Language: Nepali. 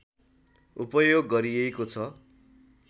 उपयोग गरिएको छ